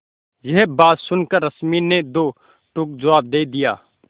यह बात सुनकर रश्मि ने दो टूक जवाब दे दिया